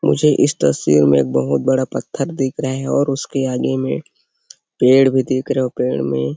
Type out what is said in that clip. मुझे इस तस्वीर में बहुत बड़ा पत्थर दिखाई दे रहा है और उसके आगे में पेड़ भी दिख रहा पड़ा हुआ है।